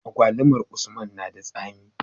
Agwalumar usman nada tsami